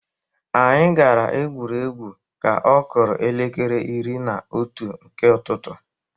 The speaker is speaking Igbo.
Anyị gara igwuri egwu ka ọ kụrụ elekere iri na otu nke ụtụtụ.